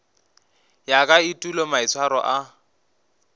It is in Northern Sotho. ya ka etulo maitshwaro a